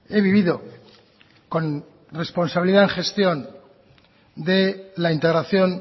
he vivido con responsabilidad en gestión de la integración